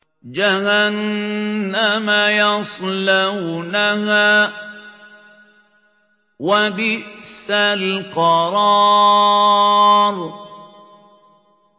جَهَنَّمَ يَصْلَوْنَهَا ۖ وَبِئْسَ الْقَرَارُ